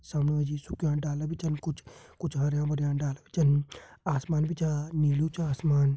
सामने मा जी सुख्यां डाला भी छन कुछ कुछ हरयां भरयां डाला भी छन आसमान भी छा नीलू च आसमान।